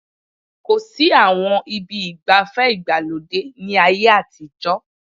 Kò sí àwọn ibi ìgbafẹ́ ìgbàlódé ní ayé àtijọ́